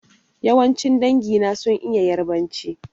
Yawancin dangi na sun iya Ƴarbanci.